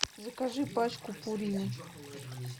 закажи пачку пурины